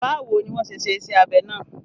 Bawo ni wọ́n ṣe ṣe iṣẹ́ abẹ náà?